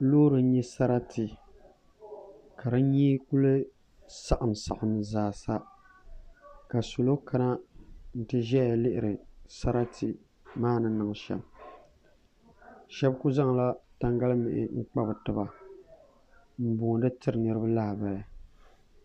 Loori n nya sarati ka di nyee kuli saɣim saɣim zaasa ka salo kana n ti ʒaya lihiri sarati maa ni niŋ shem sheba kuli zaŋla tangalimihi n kpa bɛ tiba m booni tiri niriba lahabali.